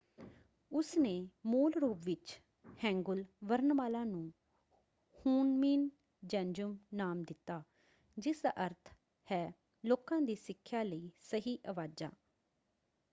ਉਸਨੇ ਮੂਲ ਰੂਪ ਵਿੱਚ ਹੈਂਗੂਲ ਵਰਨਮਾਲਾ ਨੂੰ ਹੂਨਮੀਨ ਜੇਂਜੁਮ ਨਾਮ ਦਿੱਤਾ ਜਿਸਦਾ ਅਰਥ ਹੈ ਲੋਕਾਂ ਦੀ ਸਿੱਖਿਆ ਲਈ ਸਹੀ ਆਵਾਜ਼ਾਂ"।